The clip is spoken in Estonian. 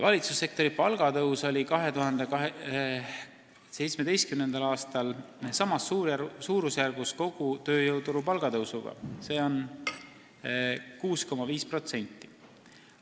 Valitsussektori palgatõus oli 2017. aastal samas suurusjärgus kogu tööjõuturu palgatõusuga, see on 6,5%.